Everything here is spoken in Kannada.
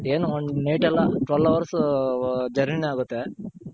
ಏನು one night ಎಲ್ಲ twelve hours journey ನೆ ಆಗುತ್ತೆ.